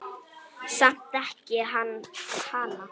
Samt elski hann hana.